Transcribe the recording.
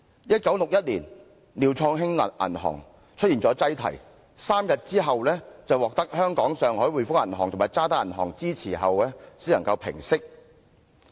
1961年，廖創興銀行出現擠提 ，3 天後獲香港上海滙豐銀行及渣打銀行支持後，才能平息事件。